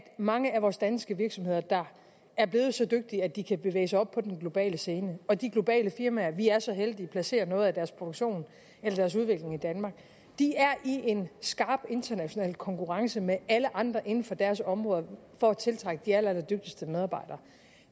mange af vores danske virksomheder der er blevet så dygtige at de kan bevæge sig op på den globale scene og de globale firmaer som vi er så heldige placerer noget af deres produktion eller deres udvikling i danmark er i en skarp international konkurrence med alle andre inden for deres område for at tiltrække de allerallerdygtigste medarbejdere